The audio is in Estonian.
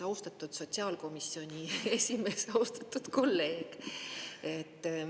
Austatud sotsiaalkomisjoni esimees, austatud kolleeg!